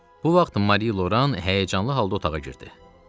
Bu vaxt Mari Loran həyəcanlı halda otağa girdi.